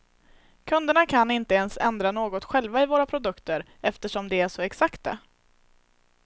Kunderna kan inte ens ändra något själva i våra produkter eftersom de är så exakta.